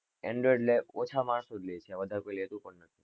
Android મા ઓછા માણસો જ લે છે. વધારે કોઈ લેતું પણ નથી.